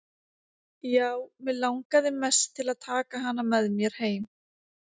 Já, mig langaði mest til að taka hana með mér heim.